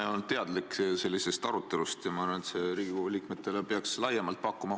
Ma ei olnud teadlik sellisest arutelust ja ma arvan, et see peaks Riigikogu liikmetele laiemalt huvi pakkuma.